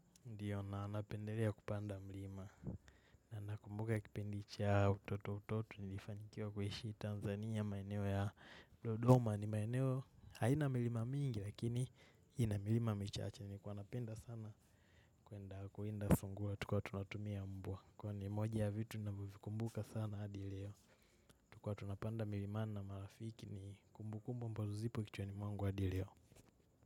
Ndiyo naanapendelea kupanda mlima na nakumbuka kipindi cha utoto utoto nilifanikiwa kuishi Tanzania maeneo ya dodoma ni maeneo haina milima mingi lakini ina milima michache nilikuwa napenda sana kuenda kuenda songua tukiwa tunatumia mbwa. Kwani moja ya vitu navovikumbuka sana hadi leo tukiwa tunapanda mlima na marafiki ni kumbu kumbu ambazo zipo kichwani mwangu hadi leo.